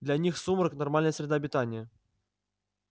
для них сумрак нормальная среда обитания